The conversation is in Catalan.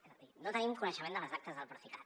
és a dir no tenim coneixement de les actes del procicat